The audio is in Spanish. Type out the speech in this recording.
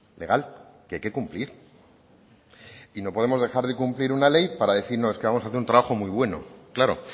legal que hay que cumplir y no podemos dejar de cumplir una ley para decir no es que vamos a hacer un trabajo muy bueno claro